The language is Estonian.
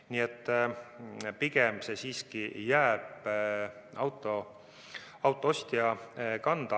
Nii et pigem jääb see siiski autoostja kanda.